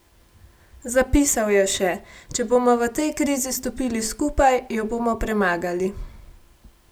Zapisal je še: "Če bomo v tej krizi stopili skupaj, jo bomo premagali.